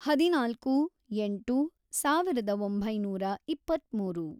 ಹದಿನಾಲ್ಕು, ಎಂಟು, ಸಾವಿರದ ಒಂಬೈನೂರ ಇಪ್ಪತ್ಮೂರು